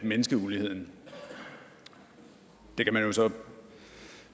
mindske uligheden det kan man jo så